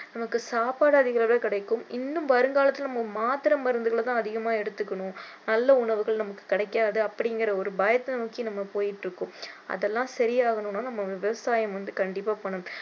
நமக்கு சாப்பாடு அதிக அளவுல கிடைக்கும் இன்னும் வருங்காலத்தில நம்ம மாத்திரை மருந்துகளை தான் அதிகமா எடுத்துக்கணும் நல்ல உணவுகள் நமக்கு கிடைக்காது அப்படிங்கிற ஒரு பயத்த நோக்கி நம்ம போயிட்டிருக்கோம் அதெல்லாம் சரி ஆகணும்னா நம்ம விவசாயம் வந்து கண்டிப்பா பண்ணணும்